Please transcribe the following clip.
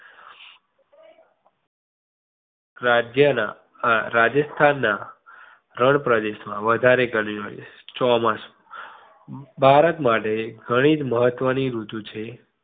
રાજ્ય ના અ રાજસ્થાન ના રણ પ્રદેશ માં વધારે ગરમી પડે છે. ચોમાસુ ભારત માટે ઘણી મહત્વની ઋતુ છે.